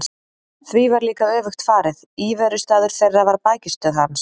Því var líka öfugt farið: íverustaður þeirra var bækistöð hans.